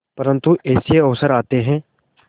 परंतु ऐसे अवसर आते हैं